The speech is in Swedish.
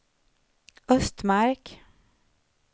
Östmark